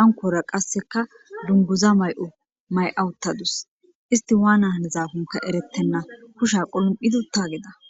ankora qasseka dunguza may'o may'awuttadus isti waana hanezafunka erettenna kusha qulum'idi utta geda